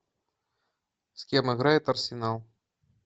с кем играет арсенал